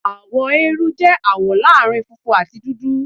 Àwọ eérú jẹ́ àwọ̀ láàrin funfun àti dúdú.